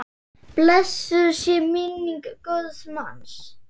Blessuð sé minning góðs manns.